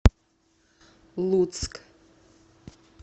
луцк